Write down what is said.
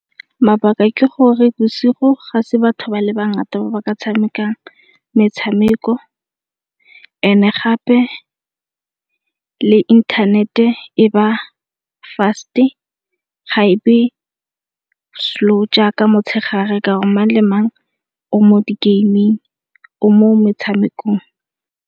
Mabaka ke gore bosigo ga se batho ba le bangata ba ba ka tshamekang metshameko e ne gape le inthanete e ba fast-e ga e be slow jaaka motshegare ka gore mang le mang o mo di-gaming, o mo metshamekong.